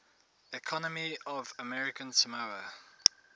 economy of american samoa